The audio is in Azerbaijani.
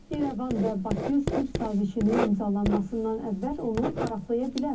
İrəvan və Bakı sülh sazişinin imzalanmasından əvvəl onu paraflaya bilər.